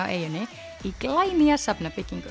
á eyjunni í glænýja